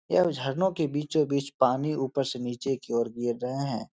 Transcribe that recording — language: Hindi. यह झरनों के बीचो बीच पानी ऊपर से नीचे की और गिर रहे हैं।